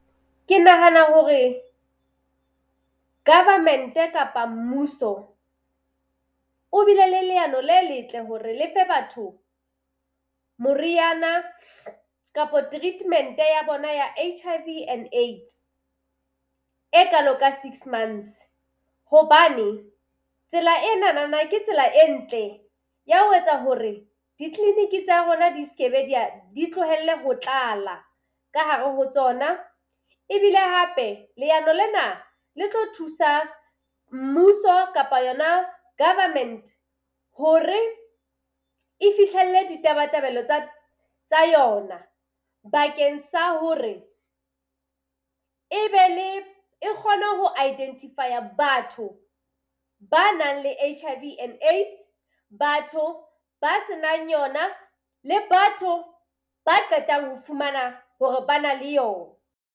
Ke nahana hore government kapa mmuso o bile le leano le letle hore le fe batho moriana kapa treatment ya bona ya H_I_V and AIDS e kalo ka six months. Hobane tsela e nanana ke tsela e ntle ya ho etsa hore ditleliniki tsa rona di ske be di tlohelle ho tlala ka hare ho tsona. Ebile hape leano lena le tlo thusa mmuso kapa yona government hore e fihlelle ditabatabelo tsa tsa yona bakeng sa hore e be le e kgone ho identify-a batho ba nang le H_I_V and AIDS, batho ba se nang yona le batho ba qetang ho fumana hore ba na le yona.